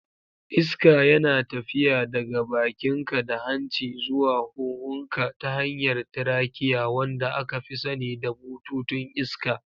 Iska yana tafiya daga bakinka da hanci zuwa huhunka ta hanyar trachea, wanda aka fi sani da bututun iska.